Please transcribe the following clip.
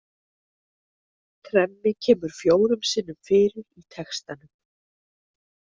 Tremmi kemur fjórum sinnum fyrir í textanum.